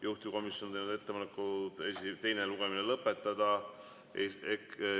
Juhtivkomisjon on teinud ettepaneku teine lugemine lõpetada.